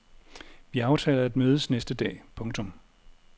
Vi aftaler at mødes næste dag. punktum